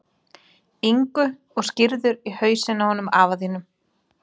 Ingu og skírður í hausinn á honum afa þínum.